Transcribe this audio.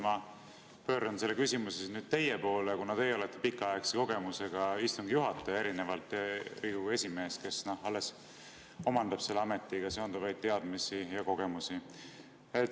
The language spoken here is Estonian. Ma pööran selle küsimuse nüüd teie poole, kuna teie olete pikaaegse kogemusega istungi juhataja erinevalt Riigikogu esimehest, kes alles omandab selle ametiga seonduvaid teadmisi ja kogemusi.